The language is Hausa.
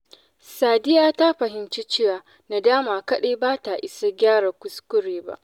Sadiya ta fahimci cewa nadama kaɗai ba ta isa gyaran kuskure ba.